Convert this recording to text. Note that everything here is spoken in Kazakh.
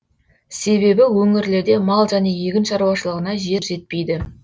себебі өңірлерде мал және егін шаруашылығына жер жетпейді